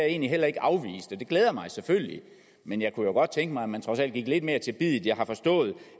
egentlig heller ikke afvist og det glæder mig selvfølgelig men jeg kunne jo godt tænke mig at man trods alt gik lidt mere til biddet jeg har forstået